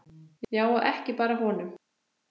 Já, og ekki bara honum.